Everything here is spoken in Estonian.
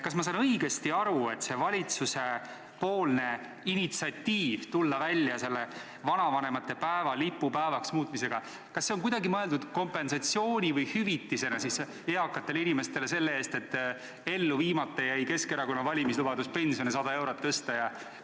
Kas ma saan õigesti aru, et see valitsuse initsiatiiv tulla välja vanavanemate päeva lipupäevaks muutmisega, on kuidagi mõeldud kompensatsiooni või hüvitisena eakatele inimestele selle eest, et ellu viimata jäi Keskerakonna valimislubadus pensione 100 eurot tõsta?